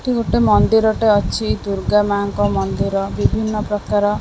ଏଠି ଗୋଟେ ମନ୍ଦିରଟେ ଅଛି ଦୁର୍ଗା ମାଙ୍କ ମନ୍ଦିର ବିଭିନ୍ନ ପ୍ରକାର--